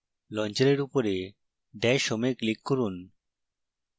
লঞ্চারের উপরে dash home এ click করুন